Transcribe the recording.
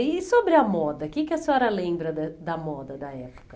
E sobre a moda, o que que a senhora lembra da da moda da época?